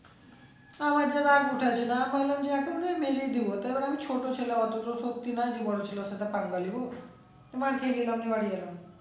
তা আমার যা রাগ উঠাইছিলো আমি বললাম যে কারণ আমি ছোট ছেলে অতো তো ওর সাথে পাঙ্গা নিবো তোমার